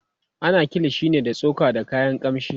ana kilishi ne da tsoka da kayan kamshi